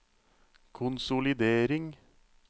konsolidering